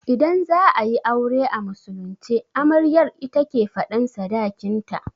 Idan za'ayi aure a musulunce, amaryar ita ke faɗan sadakin ta